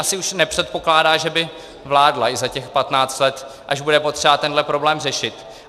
Asi už nepředpokládá, že by vládla i za těch patnáct let, až bude potřeba tenhle problém řešit.